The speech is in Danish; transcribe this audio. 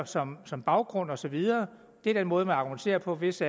som som baggrund og så videre det er den måde man argumenterer på hvis